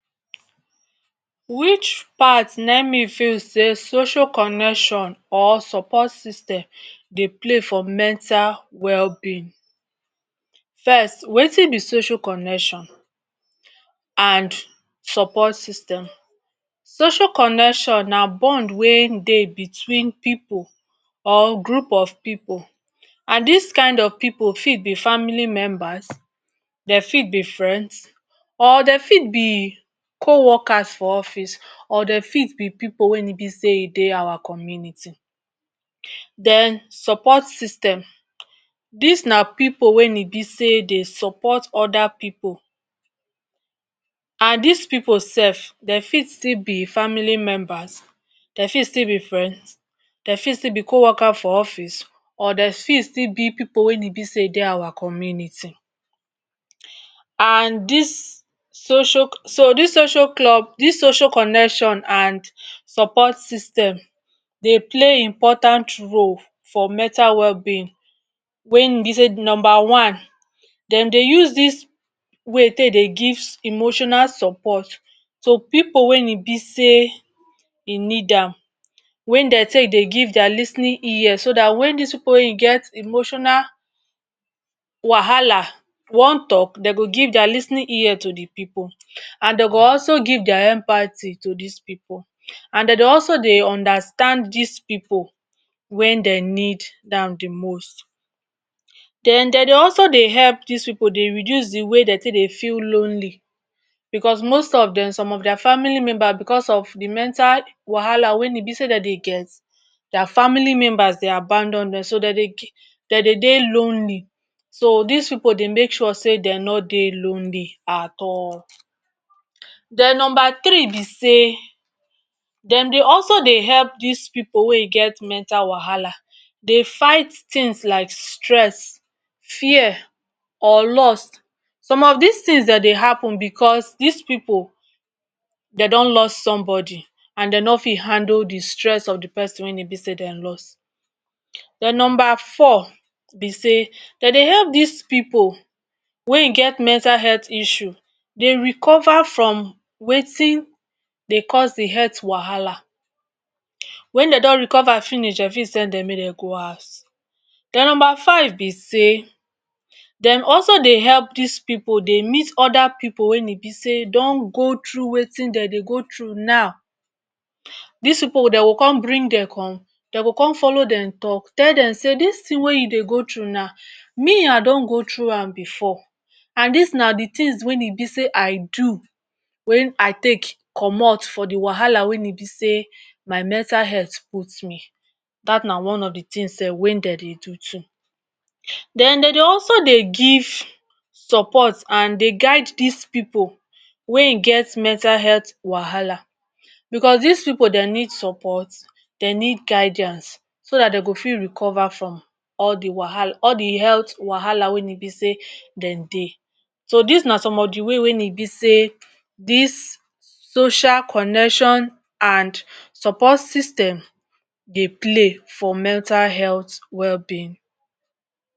Wich part na im me feel sey social connection or support system Dey play for mental wellbeing first wetin be social connection and support system. Socail connection na bond wey Dey between pipu or group of pipu and dis kind of pipu fit be family members dem fit be friends or dem fit be coworkers for office or dem fit be pipu wey e be say Dey our community den support system dis na pipu wey e be sey de support oda pipu and dis pipu sef dem fit still be family members dem fit still be friends dem fit still be coworkers for office or dem fit still be pipu wey e be say Dey our community and dis so dis social club dis social connection and support system Dey play important role for mental wellbeing wey im be sey number one dem Dey use dis way take Dey gives emotional support to pipu wey im be sey dem need am wen Dey take Dey give dia lis ten ing ear so dat wen dis pipu get emotional wahala wan talk dem go give dia lis ten ing ear to de pipu and dem go also give dia empathy to dis pipu and dem go also Dey understand dis pipu wen dem need am de most den dem Dey also de help dis pipu de reduce de way dem take Dey feel lonely because most of dem some of dia family members because of d mental wahala wen e be say dem Dey get dia family members Dey aboundon dem so dem Dey Dey lonely so dis pipu Dey make sure sey dem no Dey lonely at all Den number three be sey dem Dey also Dey help dis pipu wey e get mental wahala Dey fight things like stress, fear or lost some of dis things dem Dey happen because dis pipu dem don loss somebody and dem no fit handle de stress of de person wey dem loss den number four be say dem Dey help dis pipu wey im get mental health issue Dey recover from wetin dey cause de health wahala wen dem don recover finish dem fit send dem mey Dey go house den number five be say dem also Dey help dis pipu Dey meet oda pipu wey be sey don go through wetin dem Dey go through now dis pipu dem go come bring dem come dem go come follow dem come tell dem say dis thing wey you Dey go through now me I don go through am before and dis na de things wey e be say I do wey I take commot for de wahala wey be sey my mental health put me dat na one of de thing sef wey dem take Dey do too Den dem Dey also Dey give support and Dey guide dis pipu wey im get mental health wahala because dis pipu dem need support dem need guidance so Dat dem go fit recover from all de health wahala wey e be sey dem Dey so dis na some of de way wey e be sey dis social connection and support system Dey play for mental health wellbeing.